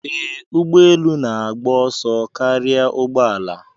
Ee, ụgbọ elu na-agba ọsọ karịa ụgbọ ala.